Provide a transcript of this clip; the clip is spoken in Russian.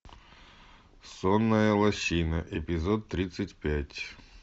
сонная лощина эпизод тридцать пять